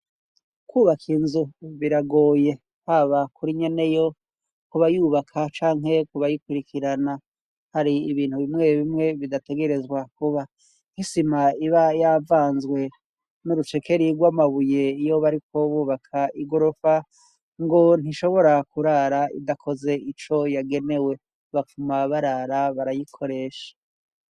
Kwubaka inzu biragoye, haba kuri nyeneyo ku bayubaka canke kubayikurikirana. Hari ibintu bimwe bimwe bidategerezwa kuba. Nk'isima iba yavanzwe n'urucekeri rw'amabuye iyo bariko bubaka igorofa ngo ntishobora kurara idakoze ico yagenewe. Bapfuma barara barayikoresha.